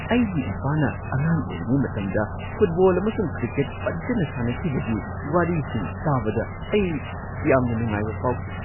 ꯑꯩꯒꯤ ꯏꯄꯥꯅ ꯑꯉꯥꯡ ꯑꯣꯏꯔꯤꯉꯩ ꯃꯇꯝꯗ ꯐꯨꯠꯕꯣꯜ ꯑꯃꯁꯨꯡ ꯀ꯭ꯔꯤꯀꯦꯠ ꯐꯖꯅ ꯁꯥꯟꯅꯈꯤꯕꯒꯤ ꯋꯥꯔꯤꯁꯤꯡ ꯇꯥꯕꯗ ꯑꯩ ꯌꯥꯝꯅ ꯅꯨꯡꯉꯥꯏꯕ ꯐꯥꯎꯈꯤ ꯫